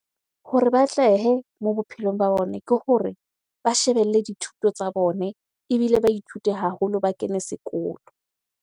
Hore ba atlehe mo bophelong ba bone ke hore ba shebelle dithuto tsa bone ebile ba ithute haholo, ba kene sekolo.